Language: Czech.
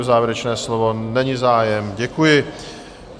O závěrečné slovo není zájem, děkuji.